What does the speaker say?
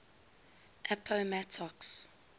appomattox